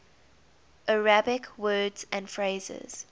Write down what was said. arabic words and phrases